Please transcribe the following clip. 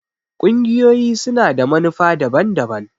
ƙungiyoyi su na da manufa daban-daban.